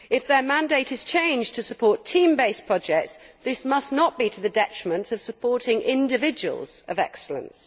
If their mandate is changed to support team based projects, this must not be to the detriment of supporting individuals of excellence.